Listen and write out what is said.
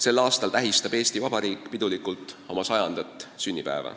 Sel aastal tähistab Eesti Vabariik pidulikult oma 100. sünnipäeva.